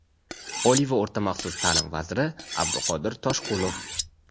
Oliy va o‘rta maxsus ta’lim vaziri Abduqodir Toshqulov:.